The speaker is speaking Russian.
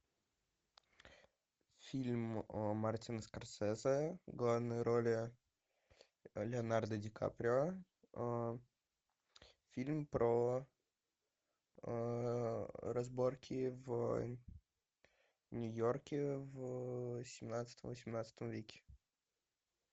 фильм мартина скорсезе в главной роли леонардо ди каприо фильм про разборки в нью йорке в семнадцатом восемнадцатом веке